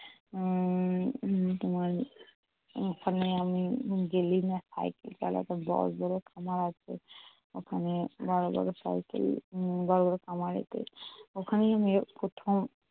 উম তোমার ওখানে আমি daily cycle চালাতাম বড় বড় খামার আছে উম ওখানে বড় বড় cycle বড় বড় খামারেতে। ওখানেই আমি প্রথম।